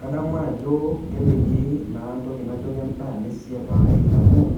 kadamu ajo kepiki naa ntoki najo kendaa nesiapaari amuu